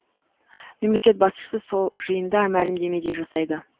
мемлекет басшысы сол жиында мәлімдеме де жасайды